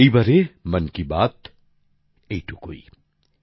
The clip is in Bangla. এইবারে মন কি বাতে এইটুকুই